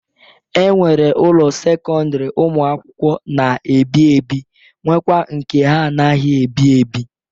E nwere ụlọ sekọndịrị ụmụ akwụkwọ na-ebi ebi nwekwa nke ha anaghị ebi ebi.